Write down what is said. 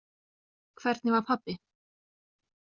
Hvernig var pabbi?